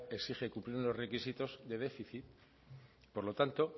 exige cumplir unos requisitos de déficit por lo tanto